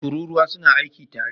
Tururuwa su na aiki tare